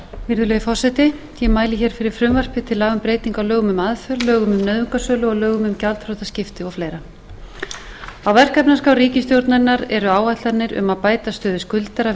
virðulegi forseti ég mæli hér fyrir frumvarpi til laga um breytingu á lögum um aðför lögum um nauðungarsölu og lögum um gjaldþrotaskipti og fleira á verkefnaskrá ríkisstjórnarinnar eru áætlanir um að bæta stöðu skuldara